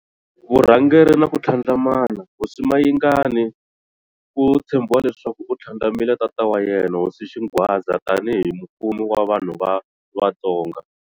Vurhangeri na ku tlhandlamana-Hosi Mayingani ku tshembiwa leswaku u tlhandlamile tata wa yena, hosi Xingwadza, tani hi mufumi wa vanhu va Vatsonga.